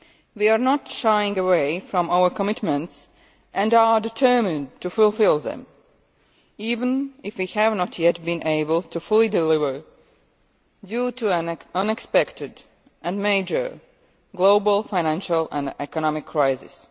We are not shying away from our commitments and are determined to fulfil them, even if we have not yet been able to fully deliver due to an unexpected and major global financial and economic crisis.